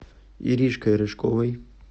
иришкой рыжковой